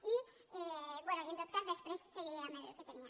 i bé en tot cas després seguiré amb el que tenia